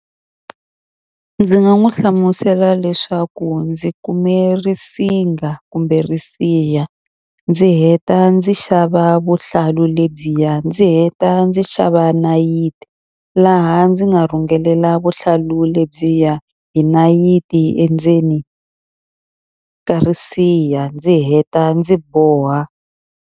Ndzi nga n'wi hlamusela leswaku ndzi kume risinga kumbe risiha, ndzi heta ndzi xava vuhlalu lebyiya, ndzi heta ndzi xava nayiti. Laha ndzi nga rhungelela vuhlalu lebyiya hi nayiti endzeni ka risiha. Ndzi heta ndzi boha.